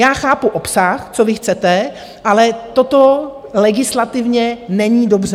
Já chápu obsah, co vy chcete, ale toto legislativně není dobře.